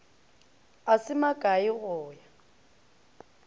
a se makae go ya